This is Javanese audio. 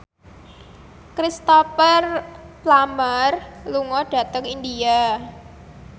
Cristhoper Plumer lunga dhateng India